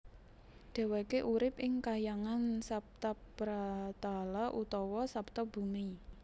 Dheweke urip ing kahyangan Saptapratala utawa Saptabumi